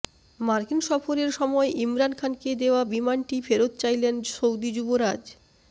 মার্কিন সফরের সময় ইমরান খানকে দেওয়া বিমানটি ফেরত চাইলেন সৌদি যুবরাজ